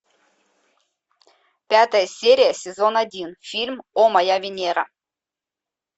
пятая серия сезон один фильм о моя венера